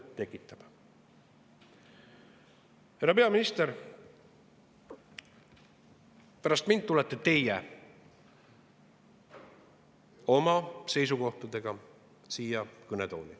Härra peaminister, pärast mind tulete teie oma seisukohtadega siia kõnetooli.